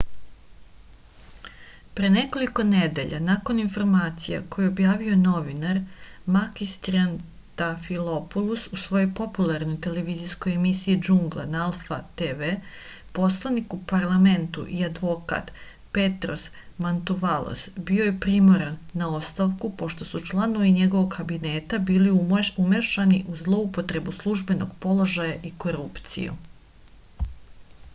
pre nekoliko nedelja nakon informacija koje je objavio novinar makis triantafilopulos u svojoj popularnoj televizijskoj emisiji džungla na alfa tv poslanik u parlamentu i advokat petros mantuvalos bio je primoran na ostavku pošto su članovi njegovog kabineta bili umešani u zloupotrebu službenog položaja i korupciju